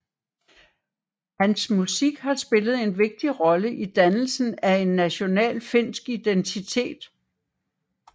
Hans musik har spillet en vigtig rolle i dannelsen af en national finsk identitet